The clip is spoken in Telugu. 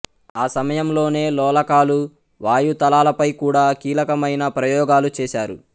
ఆ సమయంలోనే లోలకాలు వాయుతలాలపై కూడా కీలకమైన ప్రయోగాలు చేశారు